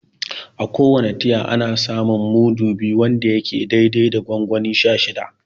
A ko wane tiya, ana samun mudu biyu wanda yake dai dai da gongoni sha shida.